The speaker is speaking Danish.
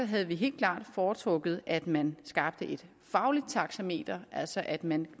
havde vi helt klart foretrukket at man skabt et fagligt taxameter altså at man